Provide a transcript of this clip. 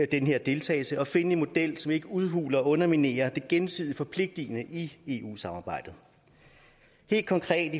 den her deltagelse og at finde en model som ikke udhuler og underminerer det gensidigt forpligtende i eu samarbejdet helt konkret